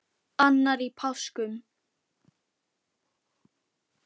Annar í páskum.